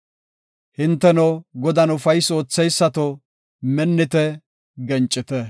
Hinteno, Godan ufaysi ootheysato, minnite; gencite.